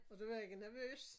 Og du var ikke nervøs?